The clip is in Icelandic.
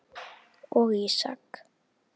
og Ísak.